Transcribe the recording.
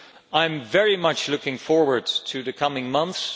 I am very much looking forward to the coming months.